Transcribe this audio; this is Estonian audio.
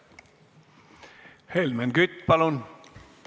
Helmen Kütt, palun!